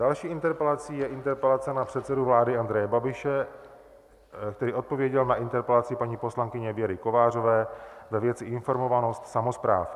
Další interpelací je interpelace na předsedu vlády Andreje Babiše, který odpověděl na interpelaci paní poslankyně Věry Kovářové ve věci informovanost samospráv.